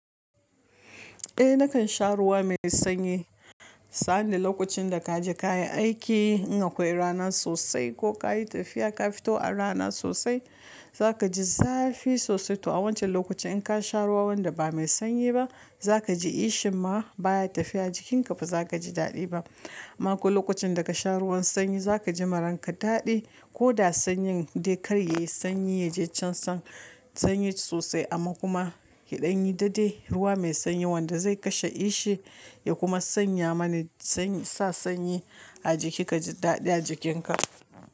Eh nakan sha ruwa mai sanyi. Sani lokacin da kaje kayi aiki in akwai rana sosai ko kayi tafiya ka fito a rana sosai zaka ji zafi sosai to a wancan lokaci in ka sha ruwa wanda ba mai sanyi ba zaka ji kishin ma baya tafiya jikinka bazaka ji dadi ba. Mako lokacin da kasha ruwan sanyi zaka ji ma ranka dadi koda sanyin dai kar yayi sanyi yaje can san-- sanyi sosai amma kuma yaɗan yi dadai ruwa mai sanyi wanda zai kashe kishi ya kuma sanya mana sanyi-- sa sanyi a jiki kaji dadi a jikinka.